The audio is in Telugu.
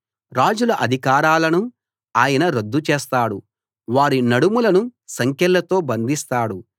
రాజుల అధికారాలను ఆయన రద్దు చేస్తాడు వారి నడుములను సంకెళ్ళతో బంధిస్తాడు